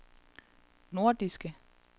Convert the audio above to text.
nordiske